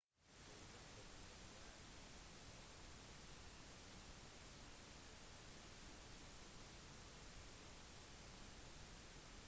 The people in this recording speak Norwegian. et eksempel er vann sammensetningen for vannet består av to hydrogenatomer og ett oksygenatom